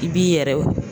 I b'i yɛrɛ